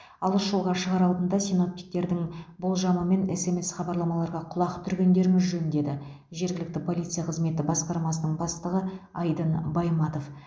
алыс жолға шығар алдында синоптиктердің болжамы мен смс хабарламаларға құлақ түргендеріңіз жөн деді жергілікті полиция қызметі басқармасының бастығы айдын байматов